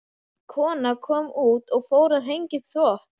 Ung kona kom út og fór að hengja upp þvott.